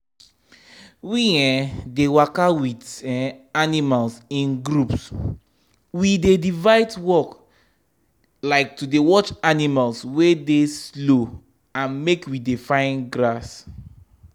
we um dey waka with um animals in groups we dey divide work like to dey watch animals wey slow and make we dey find grass. um